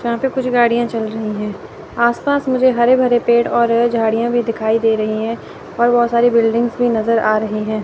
यहां पे कुछ गाड़ियां चल रही हैं। आस पास मुझे हरे भरे पेड़ और झाड़ियां भी दिखाई दे रही हैं और बहोत सारी बिल्डिंगस भी नजर आ रहे है।